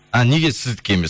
а неге сіздікі емес